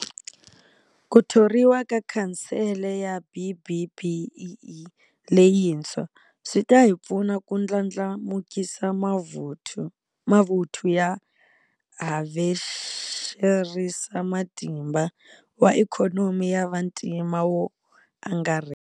Ku thoriwa ka Khansele ya BBBEE leyintshwa swi ta hi pfuna ku ndlandlamukisa mavuthu ya havexerisamatimba wa ikhonomi ya vantima wo angarhela.